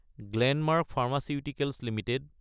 Glenmark pharmaceuticals Ltd